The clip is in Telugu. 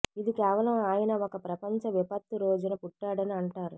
ఇది కేవలం ఆయన ఒక ప్రపంచ విపత్తు రోజున పుట్టాడని అంటారు